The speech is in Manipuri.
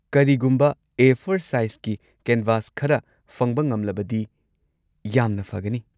ꯀꯔꯤꯒꯨꯝꯕ ꯑꯦ꯴ ꯁꯥꯏꯖꯀꯤ ꯀꯦꯟꯚꯥꯁ ꯈꯔ ꯐꯪꯕ ꯉꯝꯂꯕꯗꯤ ꯌꯥꯝꯅ ꯐꯒꯅꯤ꯫